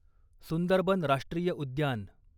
सुंदरबन राष्ट्रीय उद्यान